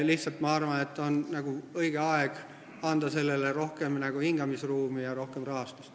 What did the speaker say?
Lihtsalt ma arvan, et on õige aeg anda sellele hingamisruumi ja rohkem rahastust.